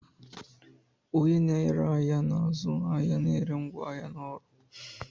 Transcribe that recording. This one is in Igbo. Onye na-ere ahịa na-azụ ahịa na ere ngwaahịa na ọrụ